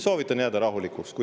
Soovitan jääda rahulikuks.